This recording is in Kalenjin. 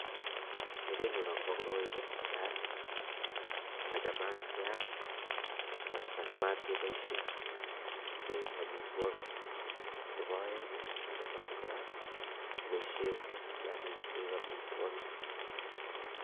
Kerenyu akobo koroi ko netai machamat keam anan machamat ke boishei koik amitwokik nebo aeng ko machamat kobisei kiyakik koik amitwokik